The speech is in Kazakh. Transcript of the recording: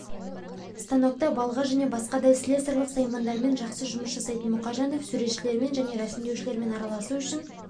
станокта балға және басқадай слесарлық саймандармен жақсы жұмыс жасайтын мұхажанов суретшілермен және рәсімдеушілермен араласу үшін